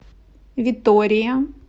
витория